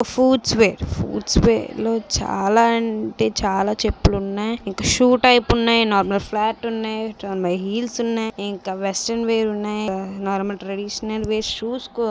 Foot స్ wear footwear లో చాలా అంటే చాలా చెప్పు లు ఉన్నాయి ఇంకా షూ టైప్ ఉన్నాయి నార్మల్ ఫ్లాట్ ఉన్నాయి హీల్ స్ ఉన్నాయి ఇంకా వెస్ట్రన్ వేర్ ఉన్నాయి ఇంకా నార్మల్ ట్రెడిషనల్ వేర్ ఉన్నాయి షూ స్ కూడా ఉన్నాయి.